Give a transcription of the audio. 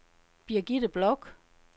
Birgitte Bloch